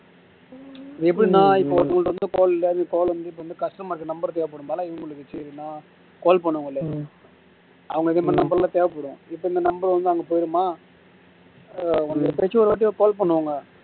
எப்படின்னா இப்போ வந்து call வந்து இப்போ வந்து customer க்கு number தேவைப்படும்னால இவங்களுக்கு நா call பண்ண முடியல அவங்களுக்கு இதுமாதிரி number லாம் தேவைப்படும் இப்போ இந்த number வந்து அங்க போயிருமா எப்பயாச்சும் ஒருவாட்டி call பண்ணுவாங்க